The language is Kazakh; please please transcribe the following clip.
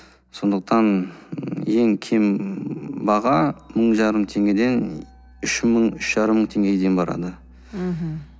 сондықтан ең кем баға мың жарым теңгеден үш мың үш жарым мың тенгеге дейін барады мхм